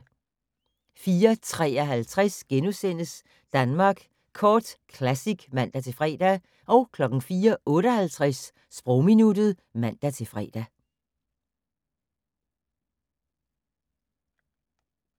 04:53: Danmark Kort Classic *(man-fre) 04:58: Sprogminuttet (man-fre)